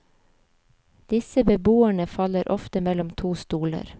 Disse beboerne faller ofte mellom to stoler.